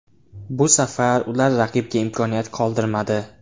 Bu safar ular raqibga imkoniyat qoldirmadi.